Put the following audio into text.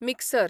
mixer